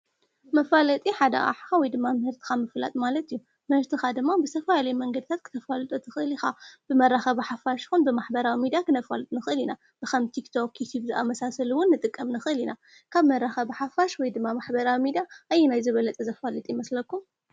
መፋለጢ ሓደኣሕ ወይ ድማ ምህርትኻ ምፍላጥ ማለት እዩ መሽትኻ ድማ ብሰፋ ለይ መንገድታት ክተፈሉጡ ትኽልኢኻ ብመራኸ ሓፋሽ ኹን ብማኅበራዊ ሚዳ ኽነፈሉጥ ንኽል ኢና ብኸምቲኽቶ ኪትብዝኣመሳሰልውን ንጥቀም ንኽል ኢና ካብ መራኸ ብሓፋሽ ወይ ድማ ማኅበራዊ ሚዳ ኣይናይ ዝበለጠ ዘፋልጢ ይመስለኩ?